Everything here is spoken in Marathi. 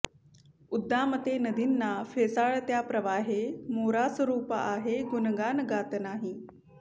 उद्दामते नदी ना फेसाळत्या प्रवाहे मोरास रूप आहे गुणगान गात नाही